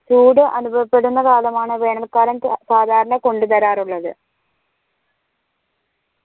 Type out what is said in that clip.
ചൂട് അനുഭവപ്പെടുന്ന കാലമാണ് വേനൽ കാലം സാധാരണ ക കൊണ്ട് തരാറുള്ളത്